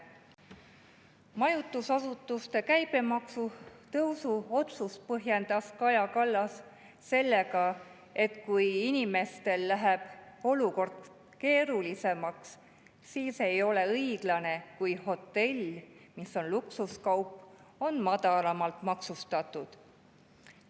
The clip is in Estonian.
Majutusasutuste käibemaksu tõusu otsust põhjendas Kaja Kallas sellega, et kui inimestel läheb olukord keerulisemaks, siis ei ole õiglane, kui hotell, mis on luksuskaup, on madalamalt maksustatud.